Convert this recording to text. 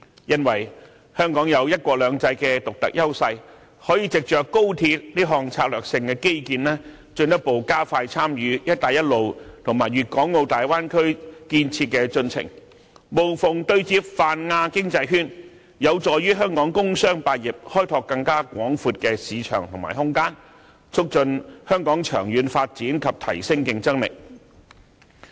因為香港有"一國兩制"的獨特優勢，可以值着高鐵這項策略性基建，進一步加快參與"一帶一路"和粵港澳大灣區建設的進程，無縫對接泛亞經濟圈，有助於香港工商百業開拓更廣闊的市場和空間，促進香港長遠發展及提升競爭力。